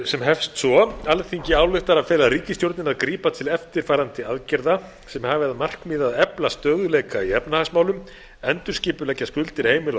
sem hefst svo alþingi ályktar að fela ríkisstjórninni að grípa til eftirfarandi aðgerða sem hafi að markmiði að efla stöðugleika í efnahagsmálum endurskipuleggja skuldir heimila